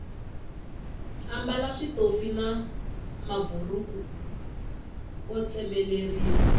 ambala switofi na maburhuku o tsemeleriwa